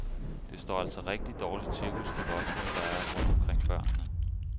Det står altså rigtig dårligt til hos de voksne, der er rundt omkring børnene.